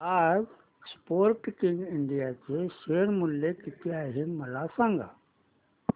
आज Sportking India चे share मूल्य किती आहे मला सांगा